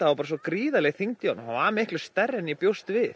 var bara svo gríðarleg þyngd í honum hann var miklu stærri en ég bjóst við